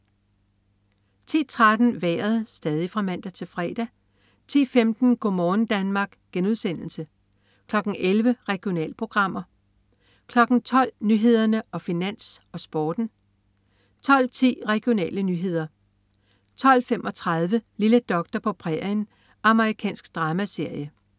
10.13 Vejret (man-fre) 10.15 Go' morgen Danmark* (man-fre) 11.00 Regionalprogrammer (man-fre) 12.00 Nyhederne, Finans, Sporten (man-fre) 12.10 Regionale nyheder (man-fre) 12.35 Lille doktor på prærien. Amerikansk dramaserie (man-fre)